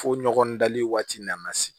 Fo ɲɔgɔn dali waati nana se